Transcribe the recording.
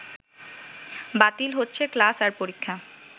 বাতিল হচ্ছে ক্লাস আর পরীক্ষা